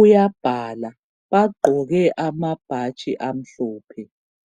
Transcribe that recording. uyabhala. Bagqoke amabhatshi amhlophe.